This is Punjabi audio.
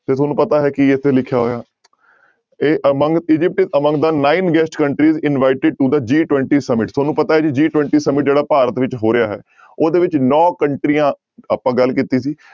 ਤੇ ਤੁਹਾਨੂੰ ਪਤਾ ਹੈ ਕੀ ਇੱਥੇ ਲਿਖਿਆ ਹੋਇਆ ਇਹ among Egypt among the nine guest countries invited to the G twenty summit ਤੁਹਾਨੂੰ ਪਤਾ ਹੈ ਜੀ G twenty summit ਜਿਹੜਾ ਭਾਰਤ ਵਿੱਚ ਹੋ ਰਿਹਾ ਹੈ ਉਹਦੇ ਵਿੱਚ ਨੋਂ ਕੰਟਰੀਆਂ ਆਪਾਂ ਗੱਲ ਕੀਤੀ ਸੀ